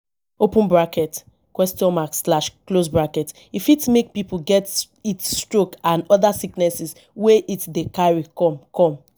e fit make pipo get heat stroke and oda sickness wey heat dey carry come come